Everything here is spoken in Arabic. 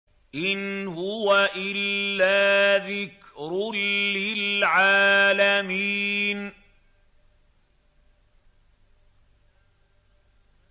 إِنْ هُوَ إِلَّا ذِكْرٌ لِّلْعَالَمِينَ